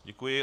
Děkuji.